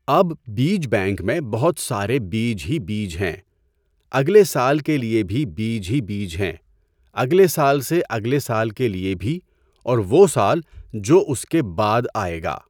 اب بیج بینک میں بہت سارے بیج ہی بیج ہیں، اگلے سال کے لئے بھی بیج ہی بیج ہیں، اگلے سال سے اگلے سال کے لئے بھی اور وہ سال جو اْس کے بعد آئے گا!